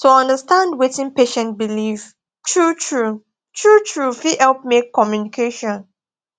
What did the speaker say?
to understand wetin patient believe truetrue truetrue fit help make communication